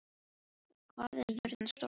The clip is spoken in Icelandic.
Gyðríður, hvað er jörðin stór?